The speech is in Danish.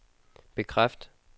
bekræft